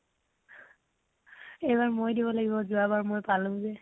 এইবাৰ মই দিব লাগিব, যোৱাবাৰ মই পালো যে ।